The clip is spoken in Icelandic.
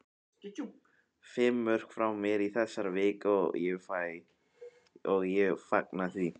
Fimm mörk frá mér í þessari viku og ég fagna því.